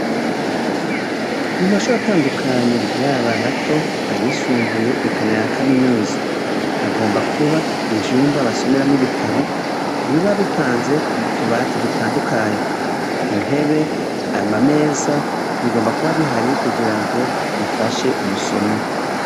Mumashuri atandukanye yaba mato canke ayisumbuye eka n'ayakaminuza ,hagomba kuba ivyumba basomeramwo ibitabo, biba bipanze k'utubati dutandukanye, intebe ,ama meza bigomba kuba bihari kugira ngo bifashe umusomyi.